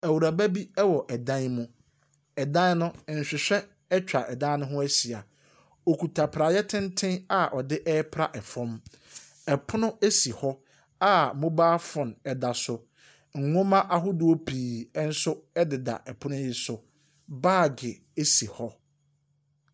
Awuraba bi wɔ dan mu. Ɛdan no nhwehwɛ atwa dan no ho ahyia . Ɔkuta praeɛ tenten a ɔde pra ɛfam. Ɛpono esi hɔ a mobile phone ɛda so. Nnwoma ahodoɔ pii nso ɛdeda ɛpono yi so. Bag esi hɔ.